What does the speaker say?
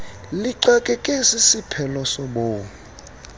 lixakeke sisiphelo sobomi